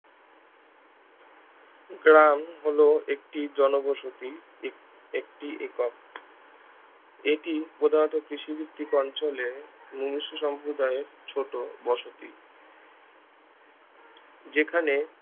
গ্রাম হলো একটি জনবসতি এক একটি একক এটি প্রধানত কৃষি ভিত্তিক অঞ্চলে মনুষ সম্প্রদায়ের ছোট বসতি যেখানে